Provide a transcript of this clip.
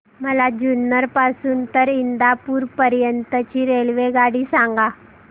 मला जुन्नर पासून तर इंदापूर पर्यंत ची रेल्वेगाडी सांगा